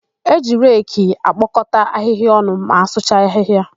E ji reki ekpokọta ahịhịa ọnụ ma asụcha ahịhịa.